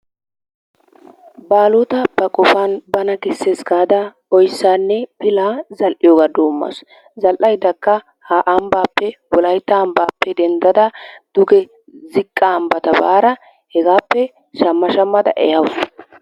Baaalota ba qofan bana kessees gaada oyssaanne pilaa zal"iyogaa doommaasu. Zal"ayddakka ha ambbaappe wolaytta ambbaappe denddada duge ziqqa ambbata baara hegaappe shamma shammada ehawusu.